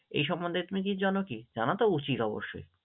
এই সম্মন্ধে তুমি কিছু জানো কি? জানা তো উচিত অবশ্যই।